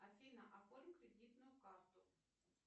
афина оформи кредитную карту